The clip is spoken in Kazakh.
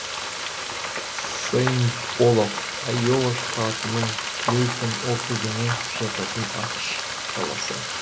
сэйнт олаф айова штатының клейтон округіне жататын ақш қаласы